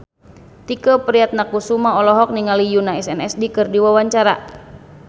Tike Priatnakusuma olohok ningali Yoona SNSD keur diwawancara